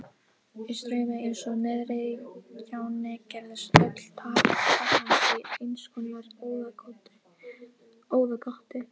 Í straumi eins og niðri í gjánni gerðist öll taka hans í einskonar óðagoti.